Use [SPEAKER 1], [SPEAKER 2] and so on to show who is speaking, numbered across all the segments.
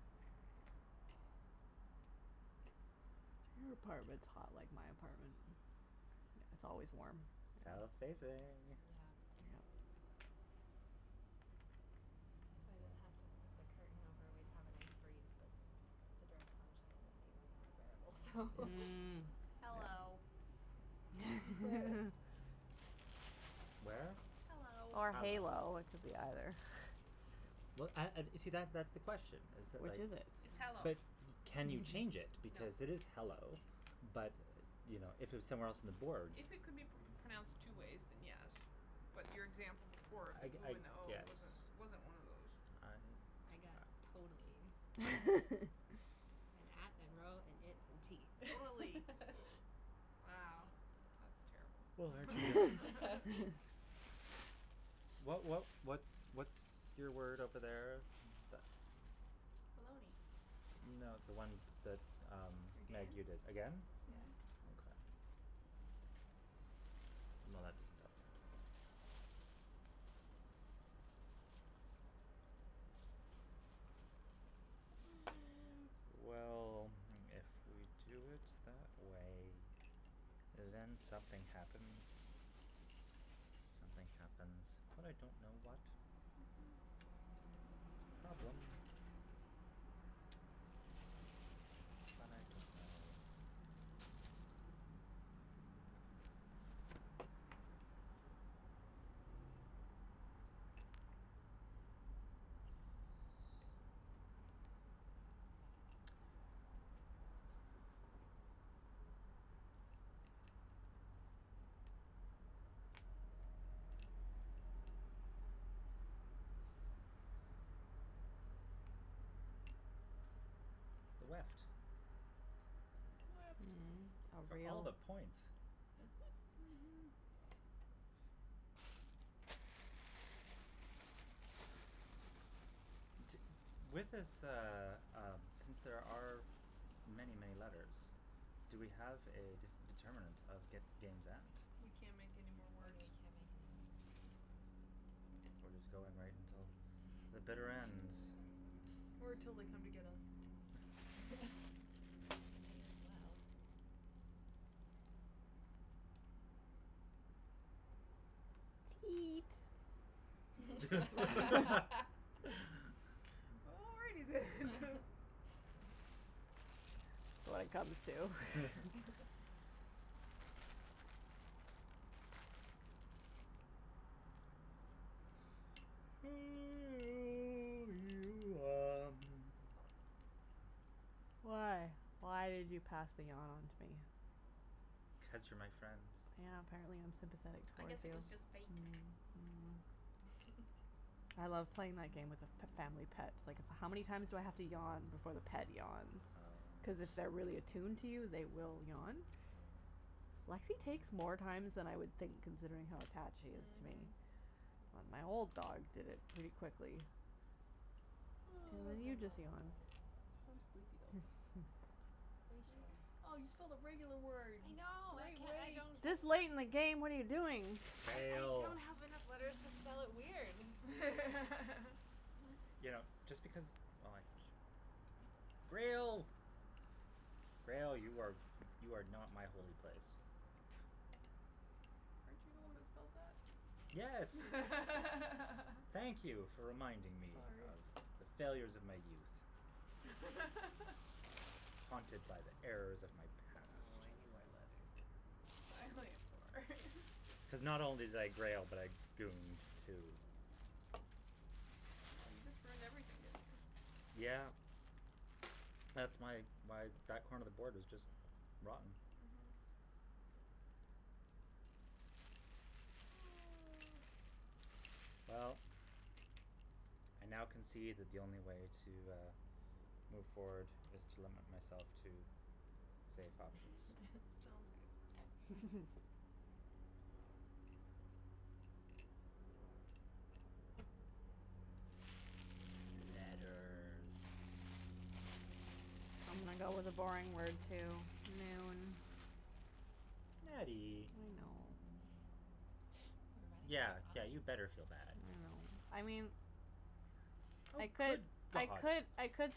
[SPEAKER 1] Your apartment's hot like my apartment. It's always warm.
[SPEAKER 2] South facing.
[SPEAKER 3] Yeah.
[SPEAKER 1] Yeah.
[SPEAKER 3] If I didn't have to put the curtain over, we'd have a nice breeze, but the direct sunshine is even more unbearable, so
[SPEAKER 1] Mm.
[SPEAKER 4] Mm. Hello.
[SPEAKER 2] Where?
[SPEAKER 4] Hello.
[SPEAKER 1] Or
[SPEAKER 2] Hello.
[SPEAKER 1] halo, it could be either.
[SPEAKER 2] Well, and and see, that that's the question is that,
[SPEAKER 1] Which
[SPEAKER 2] like
[SPEAKER 1] is it?
[SPEAKER 4] It's hello.
[SPEAKER 2] But can you change it
[SPEAKER 4] No.
[SPEAKER 2] because it is hello, but, you know, if it was somewhere else on the board
[SPEAKER 4] If it could be p- pronounced two ways, then yes. But your example before, the
[SPEAKER 2] I g-
[SPEAKER 4] ooh
[SPEAKER 2] I
[SPEAKER 4] and the oh,
[SPEAKER 2] guess.
[SPEAKER 4] wasn't wasn't one of those.
[SPEAKER 2] I
[SPEAKER 3] I got totally. And at and row and it and tee.
[SPEAKER 4] Wow, that's terrible.
[SPEAKER 2] What what what's what's your word over there that
[SPEAKER 4] Baloney.
[SPEAKER 2] No, the one that, um, Meg, you did,
[SPEAKER 4] Again?
[SPEAKER 2] again?
[SPEAKER 3] Yeah.
[SPEAKER 4] Mhm.
[SPEAKER 2] Okay. Well, that doesn't help me. Well, if we do it that way, then something happens. Something happens, but I don't know what.
[SPEAKER 4] Mhm.
[SPEAKER 2] It's a problem. But I don't know. It's the weft.
[SPEAKER 4] Weft.
[SPEAKER 1] Mm. Oh,
[SPEAKER 2] For
[SPEAKER 1] for
[SPEAKER 2] all of
[SPEAKER 1] real?
[SPEAKER 2] the points.
[SPEAKER 1] Mhm.
[SPEAKER 4] Mhm.
[SPEAKER 2] T- with this, uh, um, since there are many, many letters, do we have a d- determinant of g- game's end?
[SPEAKER 4] We can't make anymore
[SPEAKER 3] When
[SPEAKER 4] words.
[SPEAKER 3] we can't make anymore words.
[SPEAKER 2] We're just going right until the bitter ends?
[SPEAKER 4] Or till they come to get us.
[SPEAKER 3] May as well.
[SPEAKER 1] Teat
[SPEAKER 4] Already then.
[SPEAKER 1] When it comes to Why? Why did you pass the yawn onto me?
[SPEAKER 2] Cuz you're my friend.
[SPEAKER 1] Yeah, apparently I'm sympathetic
[SPEAKER 4] I
[SPEAKER 1] towards
[SPEAKER 4] guess it
[SPEAKER 1] you.
[SPEAKER 4] was just fake.
[SPEAKER 1] Mm. Mm. I love playing my game with a f- family pet. Like, how many times do I have to yawn before the pet yawns? Cuz
[SPEAKER 2] Oh.
[SPEAKER 1] if they're really attuned to you, they will yawn.
[SPEAKER 3] Hmm.
[SPEAKER 1] Lexie takes more times than I would think considering how attached she is to me.
[SPEAKER 4] Mhm.
[SPEAKER 1] But
[SPEAKER 3] Hmm.
[SPEAKER 1] my old dog did it really quickly. And
[SPEAKER 4] Oh.
[SPEAKER 3] This is
[SPEAKER 1] then
[SPEAKER 3] the
[SPEAKER 1] you just
[SPEAKER 3] normal
[SPEAKER 1] yawned.
[SPEAKER 4] I'm
[SPEAKER 3] way.
[SPEAKER 4] sleepy, though.
[SPEAKER 3] Ratio.
[SPEAKER 4] Oh, you spelled a regular word.
[SPEAKER 3] I know, I can- I don't have
[SPEAKER 1] This late in the game? What are you doing?
[SPEAKER 3] I
[SPEAKER 2] Fail.
[SPEAKER 3] don't have enough letters to spell it weird.
[SPEAKER 2] You know, just because, oh like Grail. Grail. You are you are not my holy place.
[SPEAKER 4] Weren't you the one
[SPEAKER 3] Boat.
[SPEAKER 4] that spelled that?
[SPEAKER 2] Yes. Thank you for reminding me
[SPEAKER 4] Sorry.
[SPEAKER 2] of the failures of my youth. Haunted by the errors of my
[SPEAKER 4] Oh,
[SPEAKER 2] past.
[SPEAKER 4] I need more letters. I only have four.
[SPEAKER 2] Cuz not only did I grail, but I gooned, too.
[SPEAKER 4] Oh, you just ruined everything, didn't you?
[SPEAKER 2] Yeah. That's my why that corner of the board is just rotten.
[SPEAKER 4] Mhm.
[SPEAKER 2] Well, I now concede that the only way to, uh, move forward is to limit myself to safe options.
[SPEAKER 4] Sounds good.
[SPEAKER 2] Letters.
[SPEAKER 1] I'm gonna go with a boring word, too. I
[SPEAKER 2] Nattie.
[SPEAKER 1] know.
[SPEAKER 3] We're running out
[SPEAKER 2] Yeah,
[SPEAKER 3] of
[SPEAKER 2] yeah,
[SPEAKER 3] options.
[SPEAKER 2] you better feel bad.
[SPEAKER 1] I mean,
[SPEAKER 2] Oh,
[SPEAKER 1] I could
[SPEAKER 2] good
[SPEAKER 1] I
[SPEAKER 2] god.
[SPEAKER 1] could I could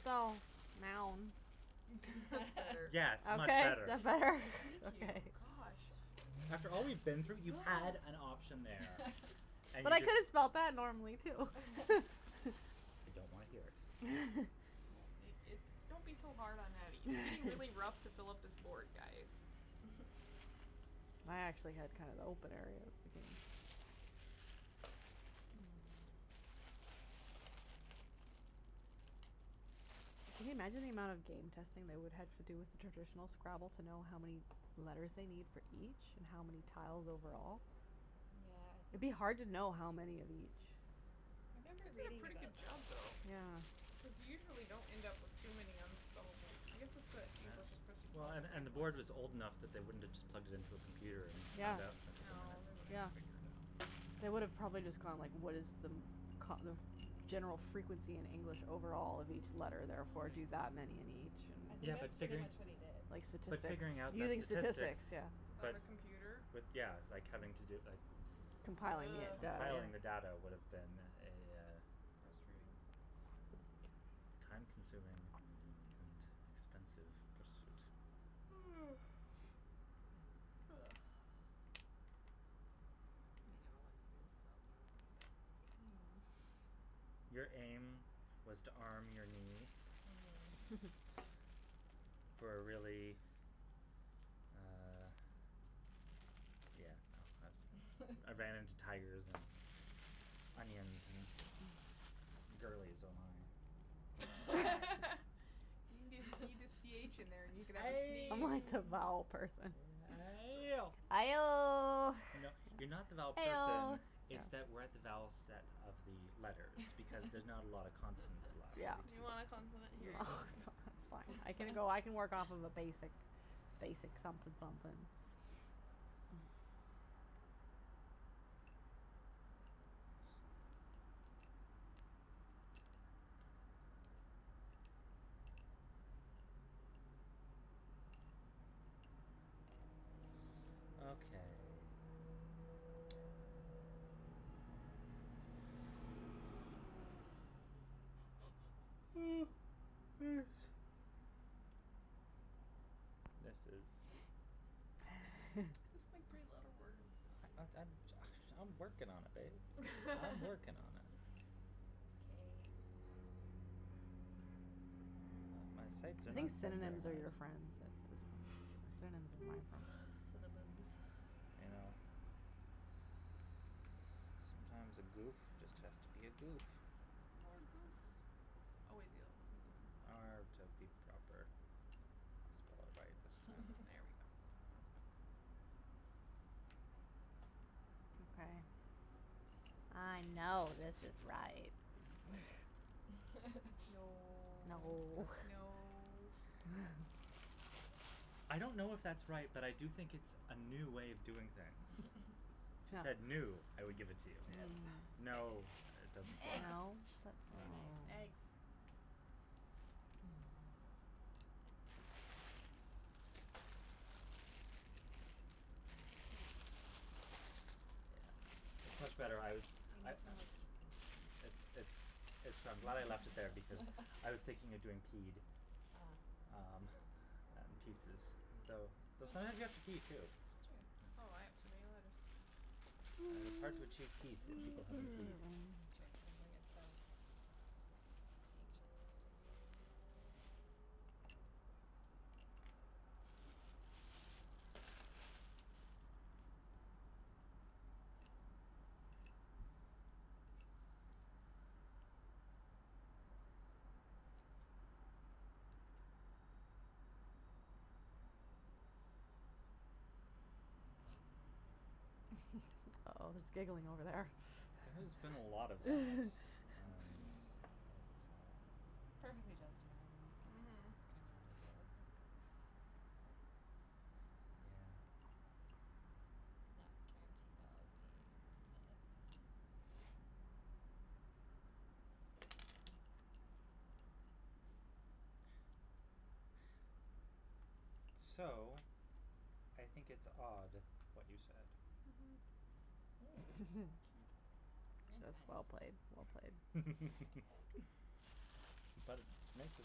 [SPEAKER 1] spell now.
[SPEAKER 4] That's better.
[SPEAKER 2] Yes, much
[SPEAKER 1] Okay?
[SPEAKER 2] better.
[SPEAKER 1] That better?
[SPEAKER 4] Thank you.
[SPEAKER 1] Okay.
[SPEAKER 4] Gosh.
[SPEAKER 2] After all we've been through, you had an option there and
[SPEAKER 1] But
[SPEAKER 2] you
[SPEAKER 1] I could
[SPEAKER 2] just
[SPEAKER 1] have spelled that normally, too.
[SPEAKER 2] I don't wanna hear it.
[SPEAKER 4] Oh, it it's don't be so hard on Nattie. It's getting really rough to fill up this board, guys.
[SPEAKER 1] I actually had kind of the opener there, I think. Can you imagine the amount of game testing they would have to do with traditional Scrabble to know how many letters they need for each and how many tiles overall?
[SPEAKER 3] Yeah, I
[SPEAKER 1] It'd
[SPEAKER 3] think
[SPEAKER 1] be hard to know how many of each.
[SPEAKER 3] I remember
[SPEAKER 4] They did a
[SPEAKER 3] reading
[SPEAKER 4] pretty good
[SPEAKER 3] about
[SPEAKER 4] job,
[SPEAKER 3] that.
[SPEAKER 4] though,
[SPEAKER 1] Yeah.
[SPEAKER 4] because you usually don't end up with too many unspellable I guess it's that
[SPEAKER 2] Yeah,
[SPEAKER 4] English
[SPEAKER 2] well, and and the board was old enough that they wouldn't have just plugged it into a computer and
[SPEAKER 1] Yeah.
[SPEAKER 2] found out in a couple of
[SPEAKER 4] No,
[SPEAKER 2] minutes.
[SPEAKER 4] they would have
[SPEAKER 1] Yeah.
[SPEAKER 4] figured it out.
[SPEAKER 1] They would have probably just gone, like, what is the kind of general frequency in English overall of each
[SPEAKER 4] Mm,
[SPEAKER 1] letter, therefore, do
[SPEAKER 4] somebody's
[SPEAKER 1] that many in
[SPEAKER 3] I
[SPEAKER 1] each.
[SPEAKER 3] think
[SPEAKER 2] Yeah, but
[SPEAKER 3] that's pretty
[SPEAKER 2] figuring
[SPEAKER 3] much what he
[SPEAKER 1] Like
[SPEAKER 3] did.
[SPEAKER 2] But
[SPEAKER 1] statistics.
[SPEAKER 2] figuring out that
[SPEAKER 1] Using statistics,
[SPEAKER 2] statistics
[SPEAKER 1] yeah.
[SPEAKER 4] Without
[SPEAKER 2] but
[SPEAKER 4] a computer?
[SPEAKER 2] With, yeah, like, having to do, like
[SPEAKER 1] Compiling
[SPEAKER 4] Ugh.
[SPEAKER 1] the
[SPEAKER 2] Compiling the
[SPEAKER 1] data.
[SPEAKER 2] data would have been a
[SPEAKER 4] Frustrating.
[SPEAKER 2] time consuming and
[SPEAKER 4] Mhm.
[SPEAKER 2] expensive pursuit.
[SPEAKER 3] I know spelled normally, but aim.
[SPEAKER 2] Your aim was to arm your knee
[SPEAKER 3] Mhm.
[SPEAKER 2] for a really, uh, yeah, no, I was I ran into tigers and onions and girlies, oh my.
[SPEAKER 4] You n- you need a c h in there and you can have a
[SPEAKER 2] Ay!
[SPEAKER 1] I'm
[SPEAKER 4] sneeze.
[SPEAKER 1] like the vowel person.
[SPEAKER 2] Ayo!
[SPEAKER 1] Aioh.
[SPEAKER 2] You know, you're not the vowel person,
[SPEAKER 1] Eoh.
[SPEAKER 2] it's that we're at the vowel set of the letters because there's not a lot of consonants left
[SPEAKER 1] Yeah.
[SPEAKER 4] You
[SPEAKER 2] because
[SPEAKER 4] want a consonant? Here you go.
[SPEAKER 1] That's fine. I can go, I can work off a basic basic something something.
[SPEAKER 2] Okay. This is
[SPEAKER 4] Just make three letter words.
[SPEAKER 2] I I I'm ju- I"m working on it, babe. I'm working on it.
[SPEAKER 4] K.
[SPEAKER 2] My my sights are
[SPEAKER 1] I
[SPEAKER 2] not
[SPEAKER 1] think
[SPEAKER 2] set very
[SPEAKER 1] synonyms are
[SPEAKER 2] high.
[SPEAKER 1] your friends. Synonyms are my friends.
[SPEAKER 4] Synonyms.
[SPEAKER 2] You know, sometimes a goof just has to be a goof.
[SPEAKER 4] More goofs. Oh
[SPEAKER 2] R to be proper. I'll spell it right this time.
[SPEAKER 4] There we go. That's better.
[SPEAKER 1] Okay. I know this is right. No.
[SPEAKER 2] That
[SPEAKER 4] No. No.
[SPEAKER 2] I don't know if that's right, but I do think it's a new way of doing things. If it said new, I would give
[SPEAKER 3] Mm.
[SPEAKER 2] it to you.
[SPEAKER 4] Yes.
[SPEAKER 2] No, it doesn't fly
[SPEAKER 4] Eggs.
[SPEAKER 1] No? But
[SPEAKER 3] Very
[SPEAKER 1] uh
[SPEAKER 3] nice.
[SPEAKER 4] Eggs.
[SPEAKER 3] Ah, piece.
[SPEAKER 2] Yeah,
[SPEAKER 3] We
[SPEAKER 2] it's
[SPEAKER 3] need
[SPEAKER 2] much better. I was
[SPEAKER 3] we
[SPEAKER 2] I
[SPEAKER 3] need
[SPEAKER 2] I
[SPEAKER 3] some more pieces than
[SPEAKER 2] It's
[SPEAKER 3] this.
[SPEAKER 2] it's it's I'm glad I left it there because I was thinking of doing peed,
[SPEAKER 3] Ah.
[SPEAKER 2] um, and pieces. Though though sometimes you
[SPEAKER 3] That
[SPEAKER 2] have to pee too.
[SPEAKER 3] It's true.
[SPEAKER 4] Oh, I have too many letters.
[SPEAKER 2] It is hard to achieve peace if people haven't peed.
[SPEAKER 1] Oh, there's giggling over there.
[SPEAKER 2] There has been a lot of that and it, uh
[SPEAKER 3] Perfectly justified in this case.
[SPEAKER 4] Mhm.
[SPEAKER 3] It's kinda ridiculous.
[SPEAKER 2] Yeah.
[SPEAKER 3] Not guaranteed I'll be able to play it, but
[SPEAKER 2] So, I think it's odd what you said.
[SPEAKER 4] Mhm. Cute.
[SPEAKER 3] Mm. Very nice.
[SPEAKER 1] That's well played, well played.
[SPEAKER 2] But it makes a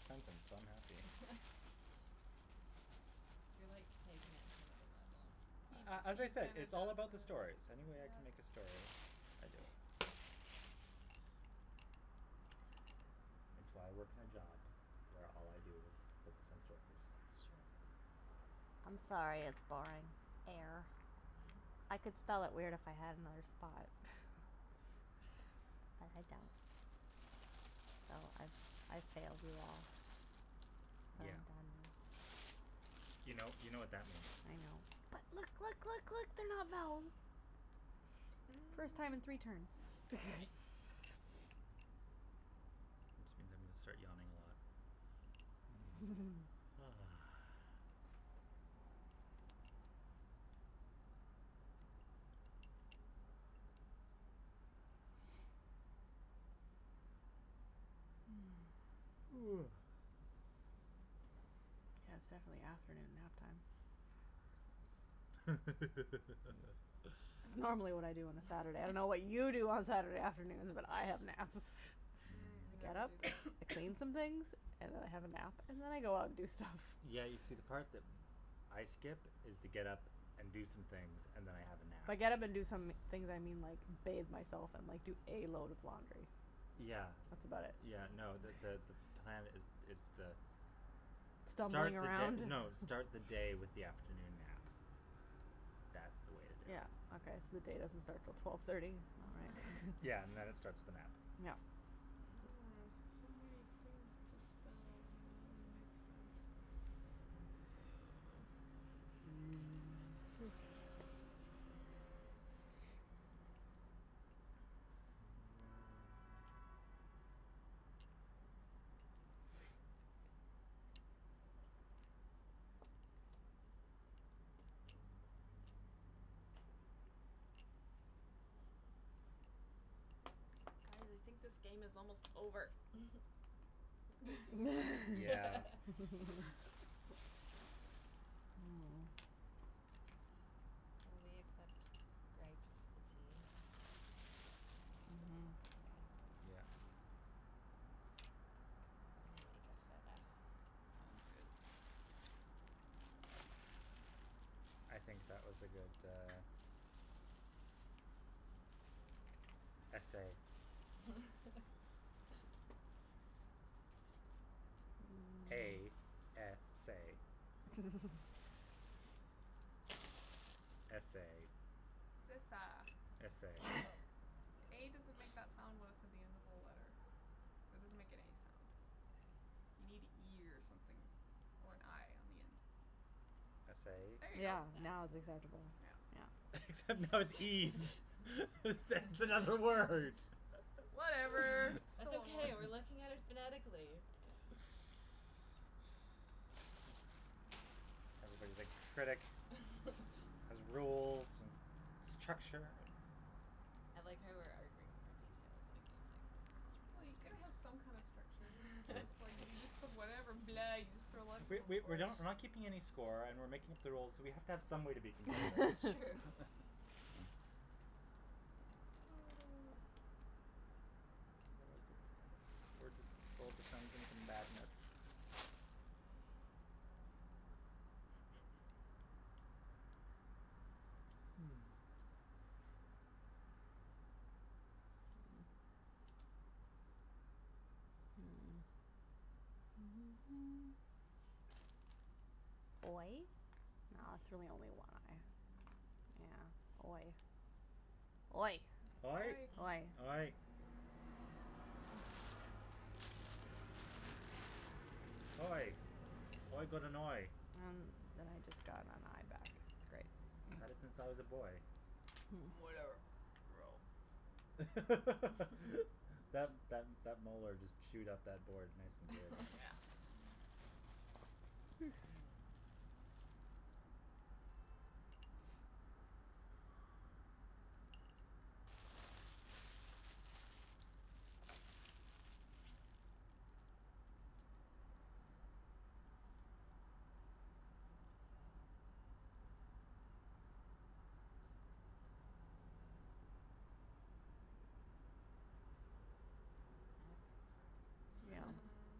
[SPEAKER 2] sentence, so I'm happy.
[SPEAKER 3] You're like taking it to another level, the
[SPEAKER 4] He he
[SPEAKER 2] A a as I said,
[SPEAKER 4] kind of
[SPEAKER 2] it's
[SPEAKER 3] sentences.
[SPEAKER 2] all
[SPEAKER 4] does that,
[SPEAKER 2] about the stories. Any way I can make a
[SPEAKER 4] yes.
[SPEAKER 2] story, I do it. It's why I work in a job where all I do is focus on stories.
[SPEAKER 3] That's true.
[SPEAKER 1] I'm sorry it's boring. Air. I could spell it weird if I had another spot. But I don't, so I I've failed you all.
[SPEAKER 2] Yeah. You know, you know what that means.
[SPEAKER 1] I know. But look, look, look, look, they're not vowels. First time in three turns.
[SPEAKER 4] Mm.
[SPEAKER 3] Nice.
[SPEAKER 2] Which means I'm gonna start yawning a lot.
[SPEAKER 1] Yeah, it's definitely afternoon nap time. It's normally what I do on a Saturday. I don't know what you do on Saturday afternoons, but have naps.
[SPEAKER 4] Mm,
[SPEAKER 1] I get
[SPEAKER 4] never
[SPEAKER 1] up,
[SPEAKER 2] Mm.
[SPEAKER 4] do that.
[SPEAKER 1] I clean some things and I have a nap and then I go out and do stuff.
[SPEAKER 2] Yeah, you
[SPEAKER 3] Nice.
[SPEAKER 2] see, the part that I skip is the get up and do some things and then I have a nap.
[SPEAKER 1] By get up and do some things, I mean, like, bathe myself and like do a load of laundry,
[SPEAKER 2] Yeah.
[SPEAKER 1] that's about it.
[SPEAKER 2] Yeah, no, the
[SPEAKER 3] Hmm.
[SPEAKER 2] the the plan is is the start
[SPEAKER 1] Stumbling
[SPEAKER 2] the
[SPEAKER 1] around?
[SPEAKER 2] d- no, start the day with the afternoon nap. That's the way to do
[SPEAKER 1] Yeah,
[SPEAKER 2] it.
[SPEAKER 1] okay, so the day doesn't start until twelve thirty? All
[SPEAKER 2] Yeah, and then it
[SPEAKER 1] right.
[SPEAKER 2] starts with a nap.
[SPEAKER 1] Yeah.
[SPEAKER 4] Mm. So many things to spell and none of them make sense.
[SPEAKER 3] Mm.
[SPEAKER 4] Guys, I think this game is almost over.
[SPEAKER 2] Yeah.
[SPEAKER 3] Will we accept with a t?
[SPEAKER 1] Mhm.
[SPEAKER 3] Mhm. Okay.
[SPEAKER 2] Yeah.
[SPEAKER 3] Cuz I'm
[SPEAKER 4] Sounds good.
[SPEAKER 2] I think that was a good, uh, essay. A s a. S a.
[SPEAKER 4] It's esa.
[SPEAKER 2] S a.
[SPEAKER 4] A doesn't make that sound when it's at the end of a letter. That doesn't make any sound. You need an e or something or an i on the end.
[SPEAKER 2] S
[SPEAKER 3] Yeah.
[SPEAKER 4] There you
[SPEAKER 2] a?
[SPEAKER 4] go.
[SPEAKER 1] Yeah,
[SPEAKER 3] That.
[SPEAKER 1] now it's acceptable.
[SPEAKER 4] Yeah.
[SPEAKER 2] Except now it's ees. It's it's another word.
[SPEAKER 1] Whatever,
[SPEAKER 4] Whatever, it's
[SPEAKER 3] That's
[SPEAKER 1] still
[SPEAKER 4] still
[SPEAKER 3] okay, we're
[SPEAKER 1] a word.
[SPEAKER 3] looking at it phonetically.
[SPEAKER 2] Everybody's a critic. Has rules and structure and
[SPEAKER 3] I like how we're arguing over details in a game like this. It's
[SPEAKER 4] Well, you
[SPEAKER 3] pretty
[SPEAKER 4] gotta have some kind of structure, or it's
[SPEAKER 3] fantastic.
[SPEAKER 4] just like you just put whatever blah, you just throw letters
[SPEAKER 2] We
[SPEAKER 4] on the
[SPEAKER 2] we we're
[SPEAKER 4] board.
[SPEAKER 2] not we're not keeping any score and we're making up the rules, so we have to have some way to be competitive.
[SPEAKER 3] It's true.
[SPEAKER 2] What was the word that's pull madness? Hmm.
[SPEAKER 1] Oy? No, that's really only a y. Yeah. Oy. Oy.
[SPEAKER 2] Oy.
[SPEAKER 4] Oy.
[SPEAKER 1] Oy.
[SPEAKER 3] Mm.
[SPEAKER 2] Oy. Oy. Oy got an oy.
[SPEAKER 1] Um then I just got an i back. Great.
[SPEAKER 2] Had it since I was a boy.
[SPEAKER 4] Whatever. Row.
[SPEAKER 2] That that that molar just chewed up that board nice and good.
[SPEAKER 4] Yeah.
[SPEAKER 3] Hmm. Now it's
[SPEAKER 1] Yeah.
[SPEAKER 3] getting hard.
[SPEAKER 4] Hmm.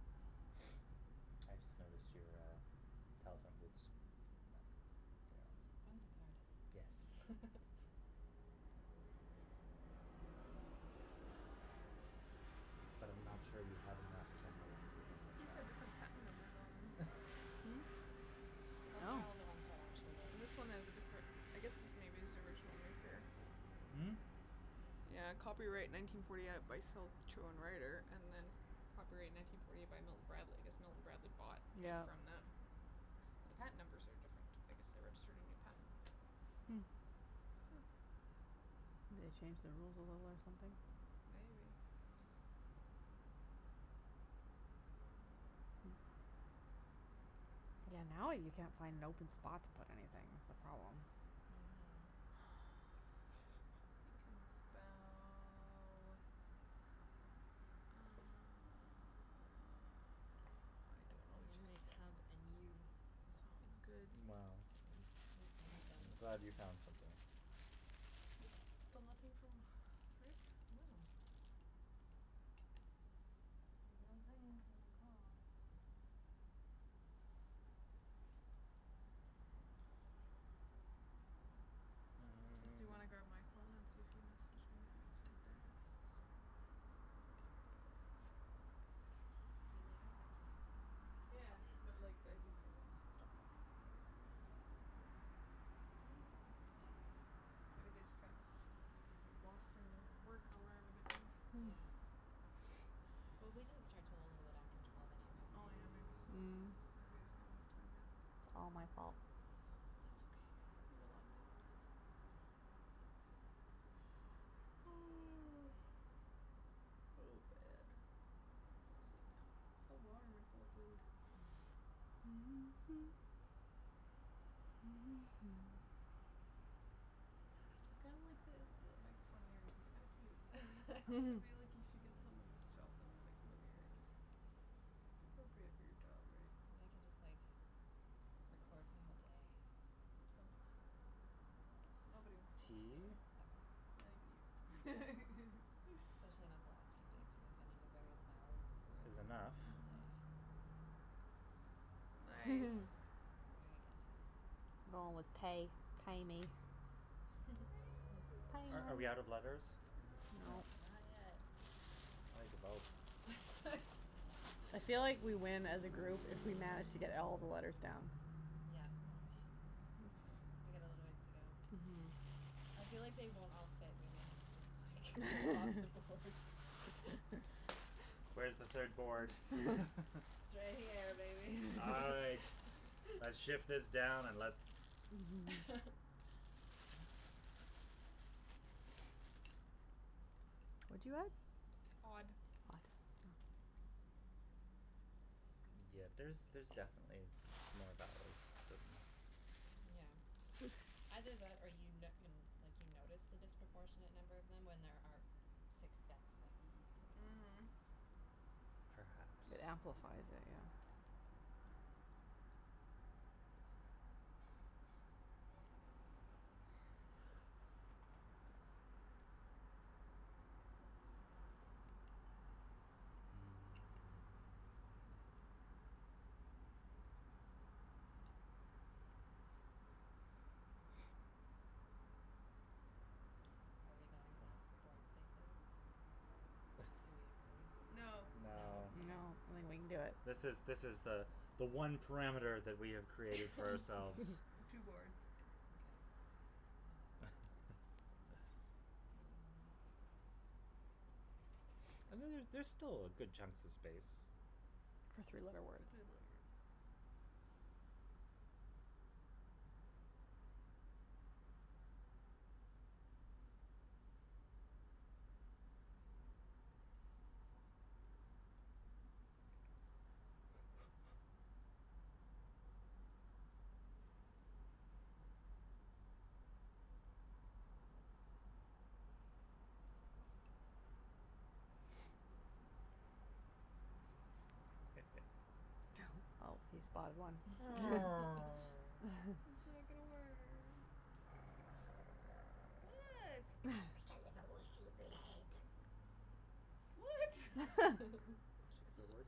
[SPEAKER 2] I just noticed your, uh, telephone booths. Back. They're awesome.
[SPEAKER 3] One's a
[SPEAKER 2] Yes.
[SPEAKER 3] tardis.
[SPEAKER 2] But I'm not sure you have enough camera lenses on that
[SPEAKER 4] These
[SPEAKER 2] shelf.
[SPEAKER 4] have different patent numbers on there.
[SPEAKER 3] Those are
[SPEAKER 1] Oh.
[SPEAKER 3] all the ones that actually work.
[SPEAKER 4] This one has a different I guess this maybe is the original maker.
[SPEAKER 2] Hmm?
[SPEAKER 4] Yeah, copyright nineteen forty eight by Selchow and Righter and then copyright nineteen forty eight by Milton Bradley. I guess Milton Bradley bought it
[SPEAKER 1] Yeah.
[SPEAKER 4] from them. But the patent numbers are different. I guess they registered a new patent.
[SPEAKER 1] Hmm. Maybe they changed the rules a little or something.
[SPEAKER 4] Maybe.
[SPEAKER 1] Yeah, now you can't find an open spot to put anything, it's a problem.
[SPEAKER 3] Mhm.
[SPEAKER 4] You can spell, uh I don't know
[SPEAKER 3] Okay. I'm
[SPEAKER 4] what you
[SPEAKER 3] gonna make
[SPEAKER 4] could spell.
[SPEAKER 3] hug and you.
[SPEAKER 4] Sounds good.
[SPEAKER 2] Well,
[SPEAKER 3] At least one of them
[SPEAKER 2] I'm
[SPEAKER 3] is
[SPEAKER 2] glad you
[SPEAKER 3] wrong.
[SPEAKER 2] found something.
[SPEAKER 4] Still nothing from Rick?
[SPEAKER 3] No. There's no blings and no calls.
[SPEAKER 4] Just do you want to grab my phone
[SPEAKER 2] Mm.
[SPEAKER 4] and see if he messaged me? It's right there.
[SPEAKER 3] I mean, they have my keys. I assume they would just
[SPEAKER 4] Yeah,
[SPEAKER 3] come in
[SPEAKER 4] but
[SPEAKER 3] and
[SPEAKER 4] like, I think they want us to stop talking before Maybe they just got lost in their work or whatever they do.
[SPEAKER 1] Hmm.
[SPEAKER 3] Yeah. Well, we didn't start till a little bit after twelve
[SPEAKER 4] Oh,
[SPEAKER 3] anyway,
[SPEAKER 4] yeah,
[SPEAKER 3] right?
[SPEAKER 4] maybe, so
[SPEAKER 1] Mm.
[SPEAKER 4] maybe it's not enough time yet.
[SPEAKER 1] It's all my fault.
[SPEAKER 4] Oh, man So warm and full of food. I kinda like the the microphone earrings. It's kinda cute. I feel like you should get some and just chop them and make them into earrings. It's appropriate for your job, right?
[SPEAKER 3] They can just, like, record my whole day.
[SPEAKER 4] Don't do that. Nobody wants to see
[SPEAKER 2] Tea.
[SPEAKER 4] that,
[SPEAKER 3] No.
[SPEAKER 4] not even you.
[SPEAKER 3] Especially not the last few days when I've been in a very loud
[SPEAKER 2] Is
[SPEAKER 3] room
[SPEAKER 2] enough.
[SPEAKER 3] all
[SPEAKER 4] Mhm.
[SPEAKER 3] day.
[SPEAKER 4] Nice.
[SPEAKER 1] Hmm.
[SPEAKER 3] Very good.
[SPEAKER 1] Going with tae, tae me.
[SPEAKER 2] Are are we out of letters?
[SPEAKER 4] No.
[SPEAKER 2] No?
[SPEAKER 1] No.
[SPEAKER 3] Not yet.
[SPEAKER 2] Like about
[SPEAKER 1] I feel like we win as a group if we manage to get all of the letters down.
[SPEAKER 3] Yeah. We got a little ways to go.
[SPEAKER 1] Mhm.
[SPEAKER 3] I feel like they won't all fit in the end, just like go off the boards.
[SPEAKER 2] Where's the third board?
[SPEAKER 3] It's right here, baby.
[SPEAKER 2] All right, let's shift this down and let's
[SPEAKER 1] What do you have?
[SPEAKER 4] Odd.
[SPEAKER 1] Odd. Oh.
[SPEAKER 2] Yeah, there's there's definitely m- more vowels hidden.
[SPEAKER 3] Yeah. Either that, or you n- you n- like, you notice the disproportionate number of them when there are six sets of e's in there.
[SPEAKER 4] Mhm.
[SPEAKER 2] Perhaps.
[SPEAKER 1] It amplifies it, yeah.
[SPEAKER 3] Yeah. Are we going off the board spaces? Do we agree?
[SPEAKER 4] No. No.
[SPEAKER 3] No?
[SPEAKER 2] No.
[SPEAKER 1] No, I
[SPEAKER 3] Okay.
[SPEAKER 1] don't think we can do it.
[SPEAKER 2] This is this is the the one parameter that we have created for ourselves.
[SPEAKER 4] The two boards.
[SPEAKER 3] Okay, well, that wouldn't work. Um
[SPEAKER 2] And then there's still good chunks of space.
[SPEAKER 1] For three letter
[SPEAKER 4] For
[SPEAKER 1] words.
[SPEAKER 4] three letter words.
[SPEAKER 1] Well, he spotted one.
[SPEAKER 2] Oh.
[SPEAKER 4] I'm sorry, I got a word. What? What?
[SPEAKER 2] It's because of a word